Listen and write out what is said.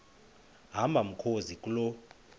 hamba mkhozi kuloo